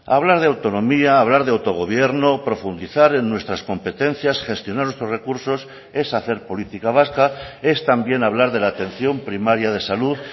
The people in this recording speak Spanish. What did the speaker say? hablar de autonomía hablar de autogobierno profundizar en nuestras competencias gestionar nuestros recursos es hacer política vasca es también hablar de la atención primaria de salud